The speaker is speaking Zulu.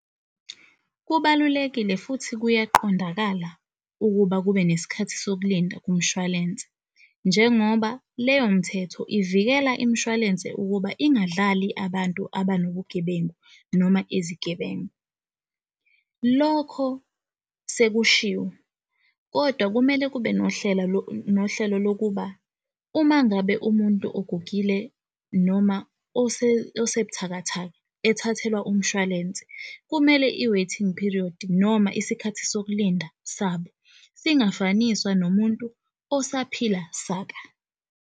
Kubalulekile futhi kuyaqondakala ukuba kube nesikhathi sokulinda kumshwalense, njengoba leyomthetho ivikela imshwalense ukuba ungadlali abantu abanobugebenga noma izigebengu. Lokho sekushiwo kodwa kumele kube nohlelo lokuba umangabe umuntu ogugile noma oseb'thakathaka ethathelwa umshwalense, kumele i-waiting period noma isikhathi sokulinda sabo singafaniswa nomuntu osaphila saka.